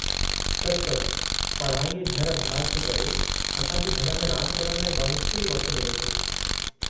सचुपचु, पढ़ाई ऐं घर-अभ्यासु जे करे, असां खे घर में रांदि करणु लाइ बमुश्किल ई वक़्तु मिले थो।